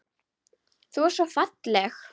Þú ert svo falleg.